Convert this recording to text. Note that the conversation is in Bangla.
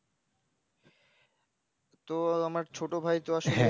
তো আমার ছোটভাই এর কি আসলে